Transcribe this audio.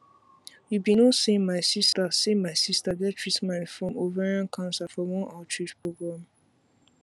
you be no say my sister say my sister get treatment from ovarian cancer from one outreach program